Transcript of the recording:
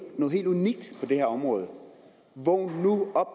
noget helt unikt på det her område vågn nu op